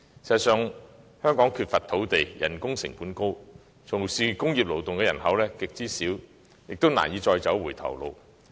事實上，香港缺乏土地、人工成本高，從事工業勞動的人口極少，我們難以再走回頭路。